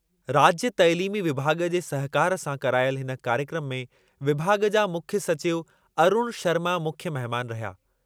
राज्यु तइलीमी विभाॻ जे सहकारु सां करायलि हिन कार्यक्रमु में विभाॻ जा मुख्यु सचिव अरूण शर्मा मुख्य महिमानि रहिया।